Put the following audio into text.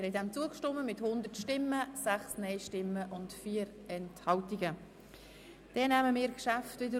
Sie haben dem Ordnungsantrag mit 100 Ja- gegen 6 Nein-Stimmen bei 4 Enthaltungen zugestimmt.